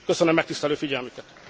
Köszönöm megtisztelő figyelmüket.